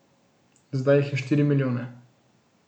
Zdaj jih je štiri milijone.